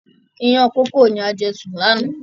Ìyàn kókò ni a jẹ sùn lànà